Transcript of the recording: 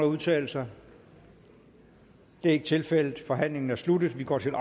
udtale sig det er ikke tilfældet forhandlingen er sluttet og vi går til